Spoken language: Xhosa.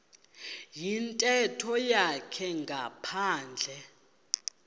yintetho yakhe ngaphandle